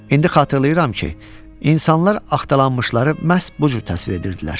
İndi xatırlayıram ki, insanlar axtalanmışları məhz bu cür təsvir edirdilər.